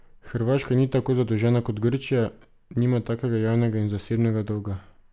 Hrvaška ni tako zadolžena kot Grčija, nima takega javnega in zasebnega dolga.